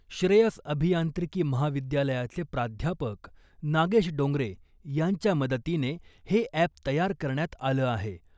श्रेयस अभियांत्रिकी महाविद्यालयाचे प्राध्यापक नागेश डोंगरे यांच्या मदतीने हे अॅप तयार करण्यात आलं आहे .